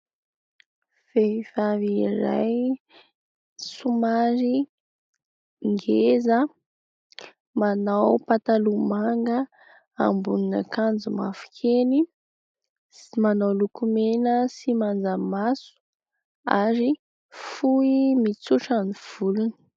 Vehivavy iray somary ngeza : manao pataloha manga, ambonin'akanjo mavokely, manao lokomena sy manjamaso ary fohy mitsotra ny volony.